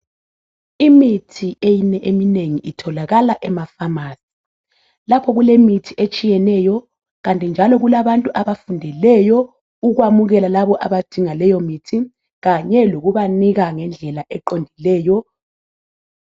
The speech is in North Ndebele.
Imithi eyinye eminengi itholakala emafamasi lapho kulemithi etshiyeneyo kanti njalo kulabantu abafundeleyo ukwamukela labo abadinga leyo mithi kanye lokubanika ngendlela eqondileyo.